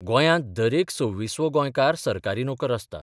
गोंयांत दरेक 26 वो गोंयकार सरकारी नोकर आसता.